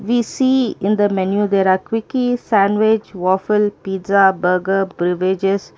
we see in the menu there are cookies sandwich waffle pizza burger beverages.